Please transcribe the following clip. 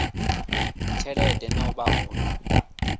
tshelede na u vha hone